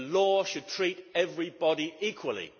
The law should treat everybody equally.